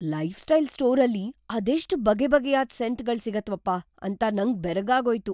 Lifestyle ಸ್ಟೋರಲ್ಲಿ ಅದೆಷ್ಟ್‌ ಬಗೆಬಗೆಯಾದ್ ಸೆಂಟ್‌ಗಳ್ ಸಿಗತ್ವಪ್ಪ ಅಂತ ನಂಗ್ ಬೆರಗಾಗೋಯ್ತು.